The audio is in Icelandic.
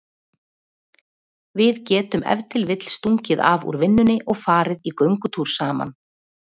Við getum ef til vill stungið af úr vinnunni og farið í göngutúr saman.